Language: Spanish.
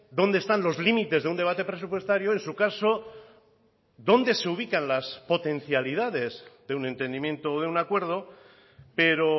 dónde están los límites de un debate presupuestario en su caso dónde se ubican las potencialidades de un entendimiento o de un acuerdo pero